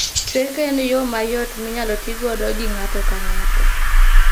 Chweko en yoo mayot minyalo tii godo gi ng'ato ka ng'ato